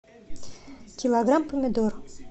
килограмм помидор